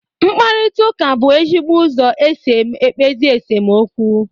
Mkparịta ụka bụ ezigbo ụzọ esi ekpezi esemokwu